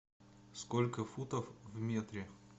сколько футов в метре